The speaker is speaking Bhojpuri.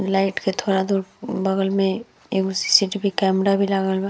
लाइट के थोड़ा दूर बगल में एगो सी.सी.टी.वी. कैमरा भी लागल बा।